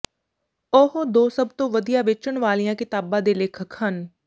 ਉਹ ਦੋ ਸਭ ਤੋਂ ਵਧੀਆ ਵੇਚਣ ਵਾਲੀਆਂ ਕਿਤਾਬਾਂ ਦੇ ਲੇਖਕ ਹਨ